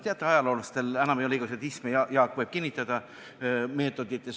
Teate, ajaloolastel enam ei ole meetoditeks igasuguseid -isme – Jaak võib seda kinnitada.